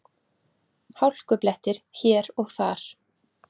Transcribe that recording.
Hálkublettir hér og þar